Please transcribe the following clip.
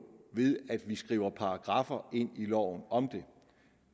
ved at skrive paragraffer ind i loven om det